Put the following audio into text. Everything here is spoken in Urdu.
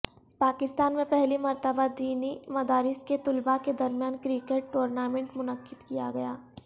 پاکستان میں پہلی مرتبہ دینی مدارس کے طلبا کے درمیان کرکٹ ٹورنامنٹ منعقد کیا گیا